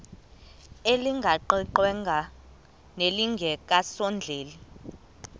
elingaqingqwanga nelinge kasondeli